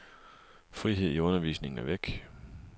Frihed i undervisningen er væk.